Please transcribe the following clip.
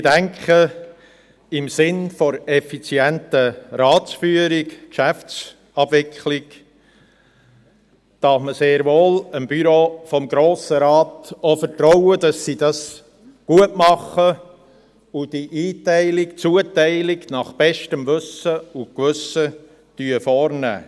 Ich denke, dass man im Sinn der effizienten Ratsführung und Geschäftsabwicklung, dem Büro des Grossen Rates sehr wohl vertrauen kann, dass es dies gut macht und die Ein-/Zuteilung nach bestem Wissen und Gewissen vornimmt.